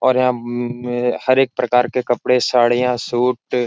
और हम्म हर एक प्रकार के कपड़े साड़ियाँ सूट --